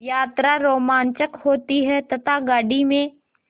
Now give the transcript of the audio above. यात्रा रोमांचक होती है तथा गाड़ी में